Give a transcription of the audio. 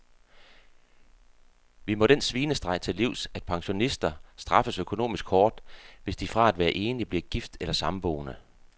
Vi må den svinestreg til livs, at pensionister straffes økonomisk hårdt, hvis de fra at være enlig bliver gift eller samboende.